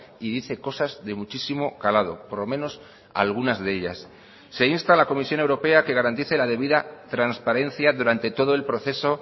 y dice cosas de muchísimo calado por lo menos algunas de ellas se insta a la comisión europea que garantice la debida transparencia durante todo el proceso